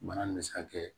Bana nin be se ka kɛ